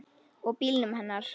Og bílnum hennar.